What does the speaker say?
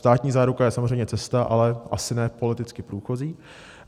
Státní záruka je samozřejmě cesta, ale asi ne politicky průchozí.